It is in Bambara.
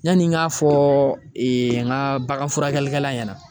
Yani n ka fɔ n ka bagan furakɛlikɛla ɲɛna